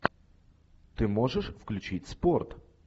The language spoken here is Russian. ты можешь включить спорт